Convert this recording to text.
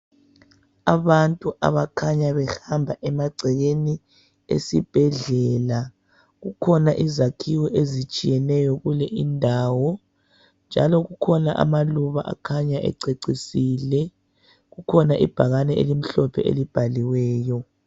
Abantu abakhanya behamba emagcekeni esibhedlela kukhona izakhiwo ezitshiyeneyo kule indawo. Njalo kukhona amaluba akhanya ececisile kukhona ibhakane elimhlophe elibhaliweyo.